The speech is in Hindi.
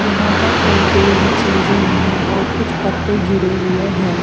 यहाँ पर और कोई भी चीजें नहीं है और कुछ पत्ते गिरे हुए हैं।